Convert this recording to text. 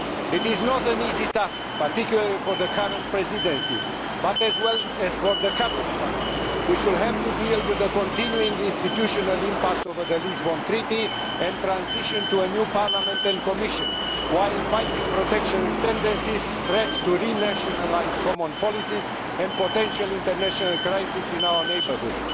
It is not an easy task, particularly for the current presidency, but also for the coming ones, which will have to deal with the continuing institutional impasse over the Lisbon Treaty and transition to a new Parliament and Commission, while fighting protectionist tendencies, threats to renationalise common policies and potential international crises in our neighbourhood.